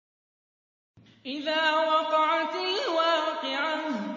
إِذَا وَقَعَتِ الْوَاقِعَةُ